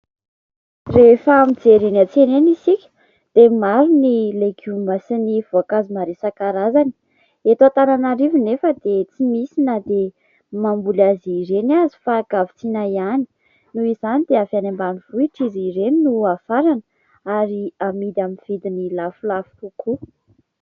Rehefa mijery ny any an-tsena isika dia maro ny legioma sy ny voankazo maro isankarazany. Eto Antananarivo nefa dia tsy misy na dia mamboly azy ireny aza fa an-kavitsiana ihany. Noho izany dia avy any ambanivohitra izy ireny no hafarana ary hamidy amin' ny vidiny lafolafo kokoa.